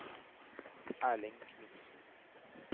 Erling Knutsen